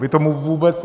Vy tomu vůbec...